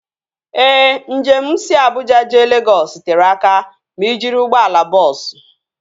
Ee, njem si Abuja jee Legọs tere aka ma ị jiri ụgbọala bọọsu